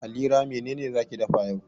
Halira mene ne za ki dafa yau?